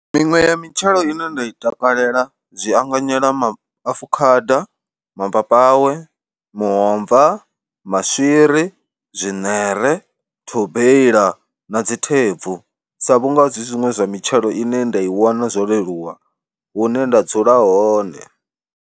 Miṅwe ya mitshelo ine nda i takalela zwi anganyela maafukhada, mapapawe, muomva, maswiri, zwiṋere, thobeila na dzi thebvu sa vhunga zwi zwiṅwe zwa mitshelo ine nda i wana zwo leluwa hune nda dzula hone.